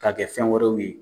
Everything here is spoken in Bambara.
Ka kɛ fɛn wɛrɛw ye.